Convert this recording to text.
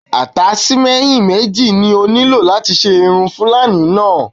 Àtáṣímẹ́ǹyì méjì ni ó nílò láti ṣe irun fuúlàní náà